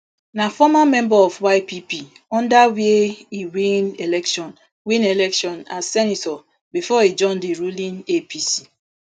na former member of ypp under wia e win election win election as senator bifor e join di ruling apc